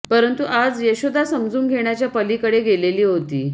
परंतु आज यशोदा समजून घेण्याच्या पलीकडे गेलेली होती